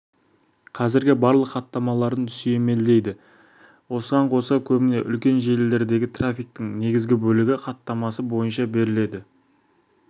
қазіргі барлық хаттамаларын сүйемелдейді осыған қоса көбіне үлкен желілердегі трафиктің негізгі бөлігі хатамасы бойынша беріледі